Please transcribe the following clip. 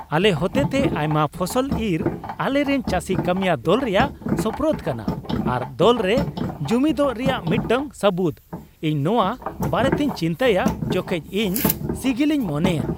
ᱟᱞᱮ ᱦᱚᱛᱮᱛᱮ ᱟᱭᱢᱟ ᱯᱷᱚᱥᱚᱞ ᱤᱨ ᱟᱞᱮᱨᱮᱱ ᱪᱟᱹᱥᱤ ᱠᱟᱹᱢᱤᱭᱟᱹ ᱫᱚᱞ ᱨᱮᱭᱟᱜ ᱥᱳᱯᱨᱳᱫᱽ ᱠᱟᱱᱟ ᱟᱨ ᱫᱚᱞ ᱨᱮ ᱡᱩᱢᱤᱫᱚᱜ ᱨᱮᱭᱟᱜ ᱢᱤᱫᱴᱟᱝ ᱥᱟᱹᱵᱩᱫᱽ ᱾ ᱤᱧ ᱱᱚᱶᱟ ᱵᱟᱨᱮᱛᱮᱧ ᱪᱤᱱᱛᱟᱹᱭᱟ ᱡᱚᱠᱷᱮᱡ ᱤᱧ ᱥᱤᱜᱤᱞᱤᱧ ᱢᱚᱱᱮᱭᱟ ᱾